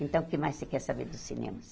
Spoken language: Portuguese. Então, o que mais você quer saber dos cinemas?